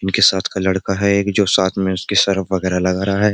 इनके साथ का लड़का है एक जो साथ में उसकी सर्फ वगैरह लगा रहा है।